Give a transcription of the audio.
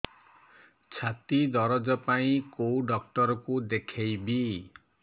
ଛାତି ଦରଜ ପାଇଁ କୋଉ ଡକ୍ଟର କୁ ଦେଖେଇବି